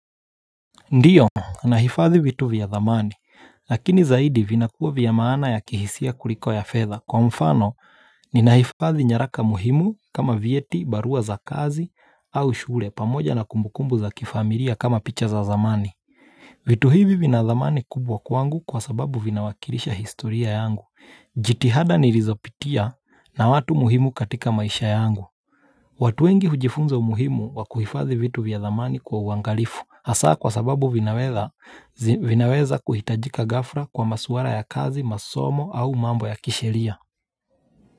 Ndiyo, nahifadhi vitu vya zamani, lakini zaidi vinakuwa vya maana ya kihisia kuliko ya fedha kwa mfano ni nahifadhi nyaraka muhimu kama vieti, barua za kazi au shule pamoja na kumbukumbu za kifamilia kama picha za zamani vitu hivi vina dhamani kubwa kwangu kwa sababu vina wakilisha historia yangu, jitihada nilizopitia na watu muhimu katika maisha yangu watu wengi hujifunza umuhimu wa kuhifazi vitu vya dhamani kwa uangalifu. Hasa kwa sababu vinaweza kuhitajika gafhla kwa masuala ya kazi, masomo au mambo ya kishelia.